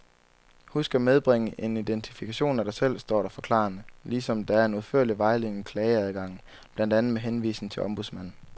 Husk at medbringe en identifikation af dig selv, står der forklarende, ligesom der er en udførlig vejledning i klageadgangen, blandt andet med henvisning til ombudsmanden.